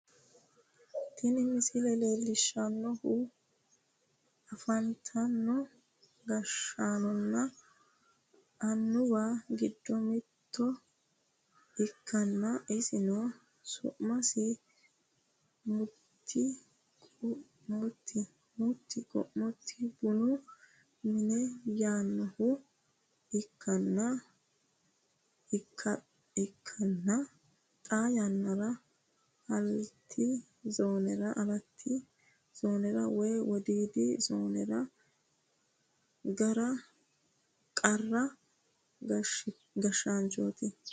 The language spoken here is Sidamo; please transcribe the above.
tini misile leellishshannohu afantino gashshaanonna annuwa giddo mitto ikkanna isino su'masi mutti qu'muti bunu mine yinanniha ikkanna, xaa yannara alati zoonera woy wodiidi zoonera qara gashshaanchooti.